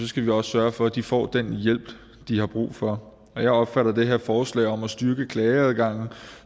skal vi også sørge for at de får den hjælp de har brug for jeg opfatter det her forslag om at styrke klageadgangen